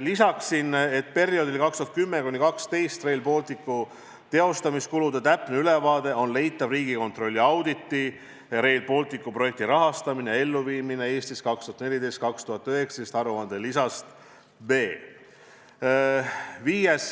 Lisan, et aastatel 2010–2012 Rail Balticu projektile tehtud kulude täpne ülevaade on leitav Riigikontrolli aruande "Rail Balticu projekti rahastamine ja elluviimine Eestis 2014–2019" lisast B. Viies